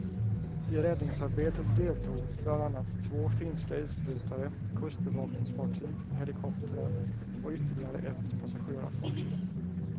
I räddningsarbetet deltog bland annat två finska isbrytare, kustbevakningsfartyg, helikoptrar och ytterligare ett passagerarfartyg.